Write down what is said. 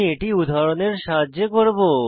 এটি উদাহরণের সাহায্যে করব